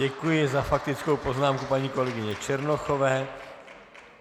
Děkuji za faktickou poznámku paní kolegyně Černochové.